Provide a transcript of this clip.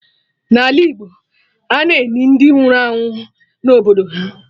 N'ala Igbo, ana-eni ndị nwụrụ anwụ na obodo ha